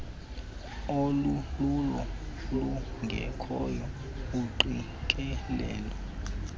olululo lungekhoyo iingqikelelo